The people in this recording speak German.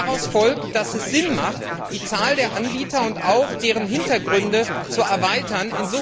Daraus folgt, dass es Sinn macht, die Zahl der Anbieter und auch deren Hintergründe zu erweitern.